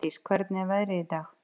Sædís, hvernig er veðrið í dag?